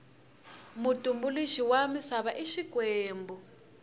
mutumbuluxi wa misava i xikwembu